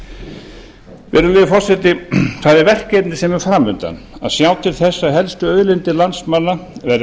virðulegi forseti það er verkefni sem er fram undan að sjá til þess að helstu auðlindir landsmanna verði